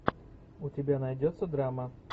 у тебя найдется драма